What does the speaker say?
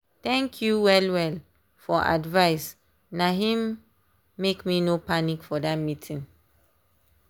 thank you well well for advice na him make me no panic for that meeting.